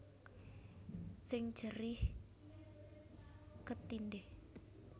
Sing jerih ketindhih